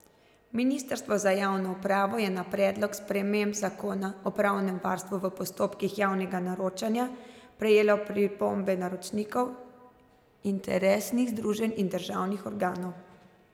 Ministrstvo za javno upravo je na predlog sprememb zakona o pravnem varstvu v postopkih javnega naročanja prejelo pripombe naročnikov, interesnih združenj in državnih organov.